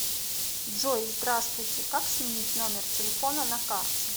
джой здравствуйте как сменить номер телефона на карте